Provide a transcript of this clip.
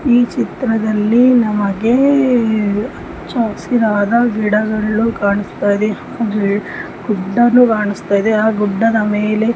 ಈ ಚಿತ್ರದಲ್ಲಿ ನಮಗೆ ಚಾಕ್ಸಿ ಆದ ಗಿಡಗಳು ಕಾಣಿಸ್ತಾ ಇದೆ ಗುಡ್ಡನು ಕಾಣಿಸ್ತಾ ಇದೆ ಆಹ್ಹ್ ಗುಡ್ಡದ ಮೇಲೆ --